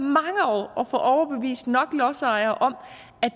og at overbevist nok lodsejere om at